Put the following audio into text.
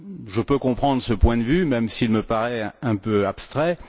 Je peux comprendre ce point de vue, même s'il me paraît un peu abstrait.